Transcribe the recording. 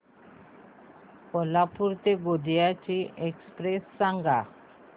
कोल्हापूर ते गोंदिया ची एक्स्प्रेस सांगा